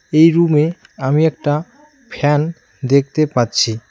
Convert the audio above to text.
এই রুমে আমি একটা ফ্যান দেখতে পাচ্ছি।